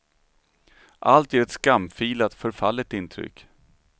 Allt ger ett skamfilat, förfallet intryck.